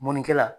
Mɔnikɛla